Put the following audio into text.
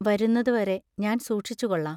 വരുന്നതുവരെ ഞാൻ സൂക്ഷിച്ചുകൊള്ളാം.